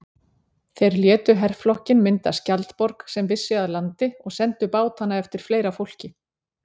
Þeir létu herflokkinn mynda skjaldborg sem vissi að landi og sendu bátana eftir fleira fólki.